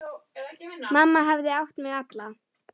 Mamma hafði átt mig alla.